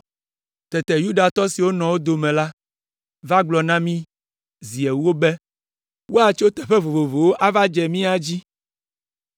Tete Yudatɔ siwo nɔ wo dome la va gblɔ na mí zi ewo be, “Woatso teƒe vovovowo ava dze mía dzi.”